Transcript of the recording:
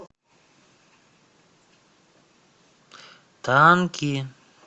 танки